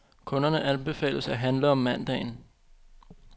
Kunderne anbefales at handle om mandagen.